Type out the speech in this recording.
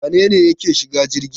Wane ne yake shiga jirgi